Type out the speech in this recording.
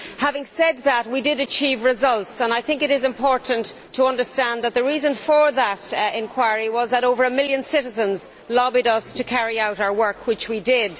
Having said that, we did achieve results and I think it is important to understand that the reason for that inquiry was that over a million citizens lobbied us to carry out our work, which we did.